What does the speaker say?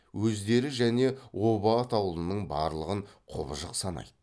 өздері және оба атаулының барлығын құбыжық санайды